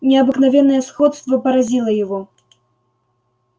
необыкновенное сходство поразило его